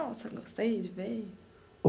Nossa, gostei de ver.